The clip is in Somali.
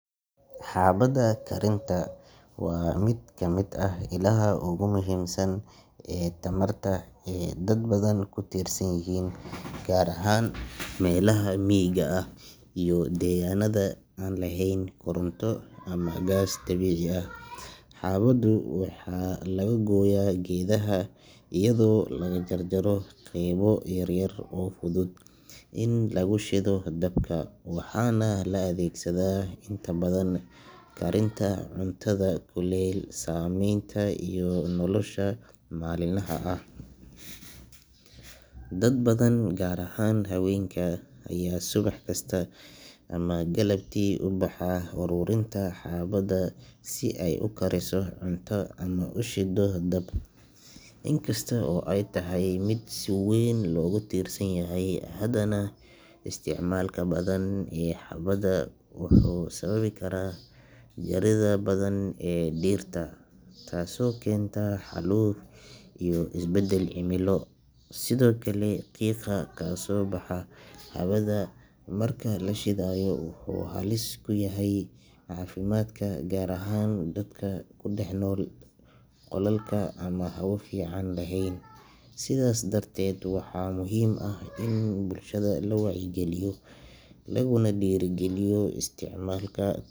Xaabada karinta waa mid ka mid ah ilaha ugu muhiimsan ee tamarta ee dad badan ku tiirsan yihiin gaar ahaan meelaha miyiga ah iyo deegaannada aan lahayn koronto ama gaas dabiici ah. Xaabadu waxaa laga gooyaa geedaha iyadoo lagu jarjaro qaybo yaryar oo fudud in lagu shido dabka, waxaana la adeegsadaa inta badan karinta cuntada, kuleyl samaynta iyo nolosha maalinlaha ah. Dad badan, gaar ahaan haweenka, ayaa subax kasta ama galabtii u baxa aruurinta xaabada si ay u kariso cunto ama u shido dab. In kasta oo ay tahay mid si weyn loogu tiirsan yahay, haddana isticmaalka badan ee xaabada wuxuu sababi karaa jaridda badan ee dhirta taasoo keenta xaaluf iyo isbedel cimilo. Sidoo kale, qiiqa kasoo baxa xaabada marka la shidayo wuxuu halis ku yahay caafimaadka, gaar ahaan dadka ku dhex nool qolalka aan hawo fiican lahayn. Sidaas darteed, waxaa muhiim ah in bulshada la wacyigeliyo laguna dhiirrigeliyo isticmaalka.